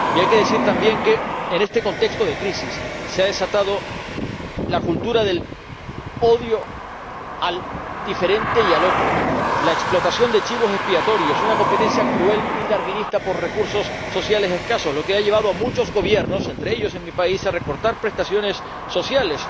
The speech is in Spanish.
Y hay que decir también que, en este contexto de crisis, se ha desatado la cultura del odio al diferente y al otro, la explotación de chivos expiatorios y una competencia cruel y darwinista por recursos sociales escasos, lo que ha llevado a muchos Gobiernos —entre ellos el de mi país— a recortar prestaciones sociales.